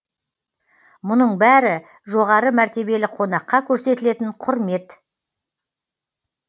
мұның бәрі жоғары мәртебелі қонаққа көрсетілетін құрмет